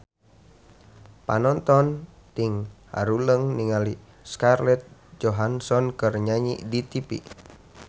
Panonton ting haruleng ningali Scarlett Johansson keur nyanyi di tipi